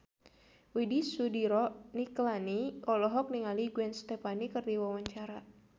Widy Soediro Nichlany olohok ningali Gwen Stefani keur diwawancara